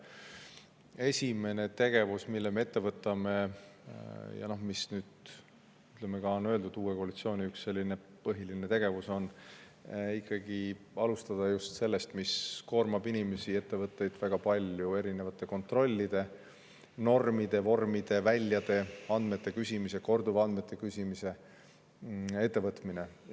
Esimene tegevus, mille me ette võtame ja mis nüüd uue koalitsiooni ühe põhilise tegevusena on ka välja öeldud, on see, mis inimesi ja ettevõtteid väga koormab: erinevate kontrollide, normide, vormide, väljade, andmete küsimise, korduvandmete küsimise.